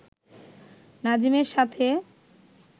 নাজিমের সাথে